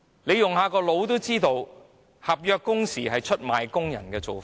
不用細想也知道，推行合約工時是出賣工人的做法。